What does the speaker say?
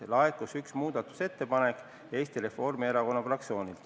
Laekus üks muudatusettepanek ja selle esitas Eesti Reformierakonna fraktsioon.